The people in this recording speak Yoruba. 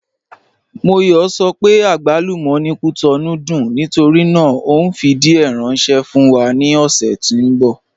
Móyọ̀ sọ pé àgbálúmọ̀ ni Cotonou dùn nítorí náà o nfi díẹ̀ ránṣẹ̀ fún wa ni ọ̀ṣẹ̀ tí n bọ.